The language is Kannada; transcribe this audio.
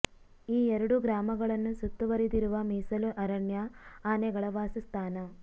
ಈ ಎರಡೂ ಗ್ರಾಮಗಳನ್ನು ಸುತ್ತುವರಿದಿರುವ ಮೀಸಲು ಅರಣ್ಯ ಆನೆಗಳ ವಾಸ ಸ್ಥಾನ